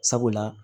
Sabula